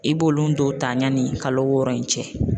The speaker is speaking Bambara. I b'olu dɔw ta yanni kalo wɔɔrɔ in cɛ